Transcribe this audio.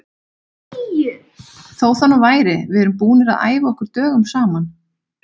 Þó það nú væri, við erum búnir að æfa okkur dögum saman.